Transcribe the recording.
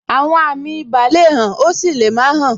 Àwọn àmì ibà le hàn, ó sì lè má hàn.